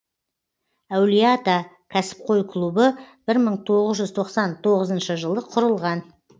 әулие ата кәсіпқой клубы бір мың тоғыз жүз тоқсан тоғызыншы жылы құрылған